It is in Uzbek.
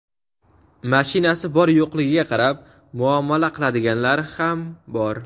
mashinasi bor-yo‘qligiga qarab muomala qiladiganlari ham bor.